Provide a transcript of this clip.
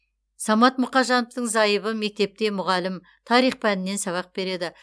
самат мұқажановтың зайыбы мектепте мұғалім тарих пәнінен сабақ береді